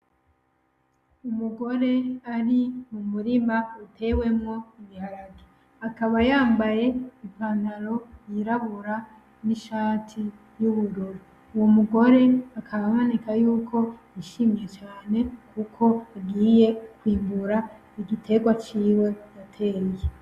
Umugore ari mu murima utewemwo ibiharage akaba yambaye ipantaro yirabura n'ishati y'ubururu uwo mugore akaba aboneka yuko yishimye cane kuko agiye kwimbura igiterwa ciwe yateye.